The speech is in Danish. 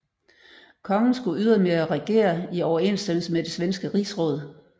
Kongen skulle ydermere regere i overensstemmelse med det svenske Rigsråd